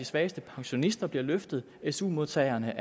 svageste pensionister bliver løftet su modtagerne